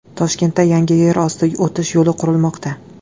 Toshkentda yangi yer osti o‘tish yo‘li qurilmoqda.